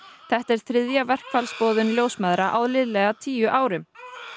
þetta er þriðja verkfallsboðun ljósmæðra á liðlega tíu árum